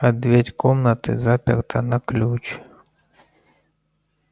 а дверь комнаты заперта на ключ